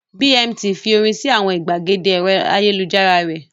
Bmt fi orin sí àwọn ìgbàgede ẹ̀rọ ayélujára rẹ̀.